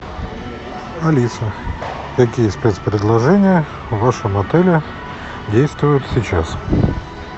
алиса какие спец предложения в вашем отеле действуют сейчас